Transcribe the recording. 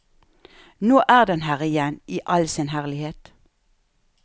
Nå er den her igjen i all sin herlighet.